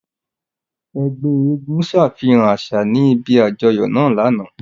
Ẹgbẹ èègún ṣafihan aṣa ni ibi ajọyọ naa lana.